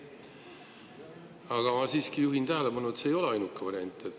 Aga ma siiski juhin tähelepanu, et see ei ole ainuke variant.